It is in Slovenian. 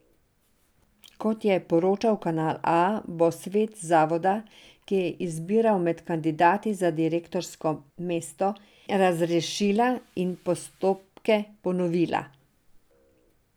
Kot je poročal Kanal A, bo svet zavoda, ki je izbiral med kandidati za direktorsko mesto, razrešila in postopke ponovila.